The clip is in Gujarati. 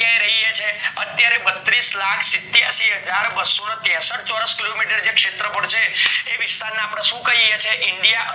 અત્યારે રહીએ છીએ અત્યારે બત્રીસ લાખ સીત્યાસી હાજર બસ્સો ત્રેસઠ ચોરસ kilometer શેત્ર ફળ છે એ વિસ્તાર ને અપડે સુ કહીએ છીએ india